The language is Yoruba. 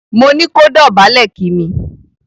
Mo ní kó dòbálè kí mi!